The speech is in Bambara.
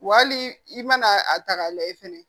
Wa hali i mana a ta k'a lajɛ fɛnɛ